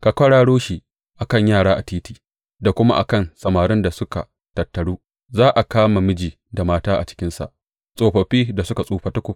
Ka kwararo shi a kan yara a titi da kuma a kan samarin da suka tattaru; za a kama miji da mata a cikinsa, tsofaffi da suka tsufa tukub.